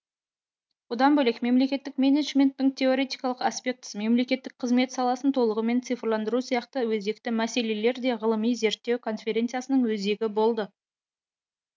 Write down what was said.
бұдан бөлек мемлекеттік менеджменттің теоретикалық аспектісі мемлекеттік қызмет саласын толығымен цифрландыру сияқты өзекті мәселелер де ғылыми зерттеу конференциясының өзегі болды